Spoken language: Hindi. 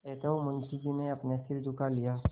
अतएव मुंशी जी ने सिर झुका लिया